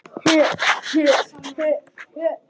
Heyr, heyr.